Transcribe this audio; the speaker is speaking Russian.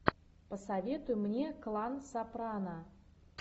посоветуй мне клан сопрано